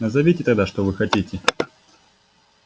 назовите тогда что вы хотите